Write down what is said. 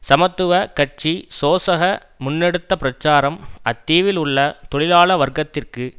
சமத்துவ கட்சி சோசக முன்னெடுத்த பிரச்சாரம் அத்தீவில் உள்ள தொழிலாள வர்க்கத்திற்கு